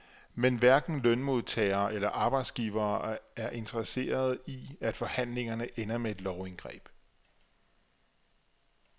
Men hverken lønmodtagere eller arbejdsgivere er interesserede i, at forhandlingerne ender med et lovindgreb.